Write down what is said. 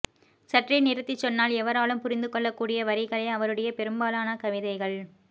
சற்றே நிறுத்திச் சொன்னால் எவராலும் புரிந்துகொள்ளக்கூடிய வரிகளே அவருடைய பெரும்பாலான கவிதைகள்